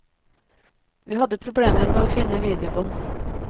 Vi hadde problemer med å finne videobånd.